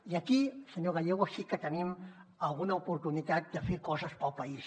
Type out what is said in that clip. i aquí senyor gallego sí que tenim alguna oportunitat de fer coses pel país